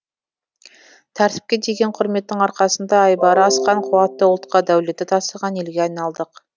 тәртіпке деген құрметтің арқасында айбары асқан қуатты ұлтқа дәулеті тасыған елге айналдық